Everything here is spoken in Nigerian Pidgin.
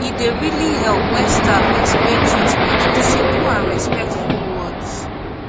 e dey really help when staff explain treatment with simple and respectful words